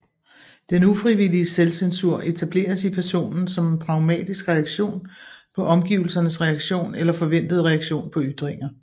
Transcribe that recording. Den ufrivillige selvcensur etableres i personen som en pragmatisk reaktion på omgivelsernes reaktion eller forventede reaktion på ytringer